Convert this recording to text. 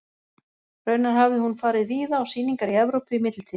Raunar hafði hún farið víða á sýningar í Evrópu í millitíðinni.